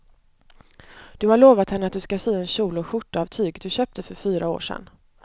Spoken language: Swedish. Du har lovat henne att du ska sy en kjol och skjorta av tyget du köpte för fyra år sedan.